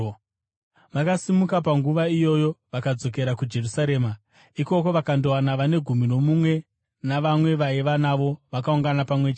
Vakasimuka panguva iyoyo vakadzokera kuJerusarema. Ikoko, vakandowana vane Gumi noMumwe navamwe vavaiva navo, vakaungana pamwe chete